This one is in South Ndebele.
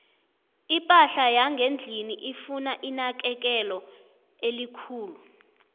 iphahla yangendlini ifuna inakekelo elikhulu